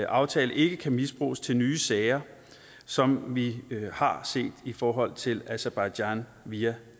aftale ikke kan misbruges til nye sager som vi har set i forhold til aserbajdsjan via